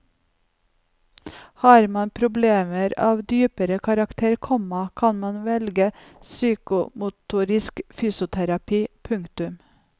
Har man problemer av dypere karakter, komma kan man velge psykomotorisk fysioterapi. punktum